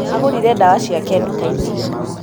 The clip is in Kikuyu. agũrire ndawa ciake nduka-inĩ